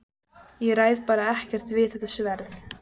Ég ræð bara ekkert við þetta sverð!